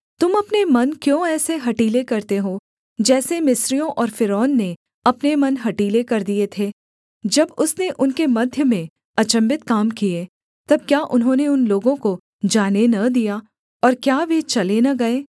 तुम अपने मन क्यों ऐसे हठीले करते हो जैसे मिस्रियों और फ़िरौन ने अपने मन हठीले कर दिए थे जब उसने उनके मध्य में अचम्भित काम किए तब क्या उन्होंने उन लोगों को जाने न दिया और क्या वे चले न गए